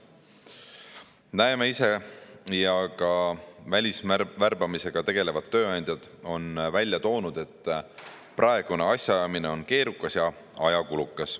Näeme ise ja ka välisvärbamisega tegelevad tööandjad on välja toonud, et praegune asjaajamine on keerukas ja ajakulukas.